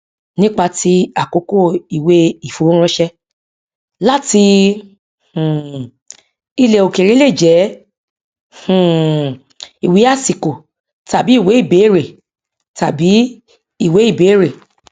nípa ti àkókò ìwé ìfowóránṣẹ láti um ilẹ òkèèrè lè jẹ um ìwé àsìkò tàbí ìwé ibéèrè tàbí ìwé ibéèrè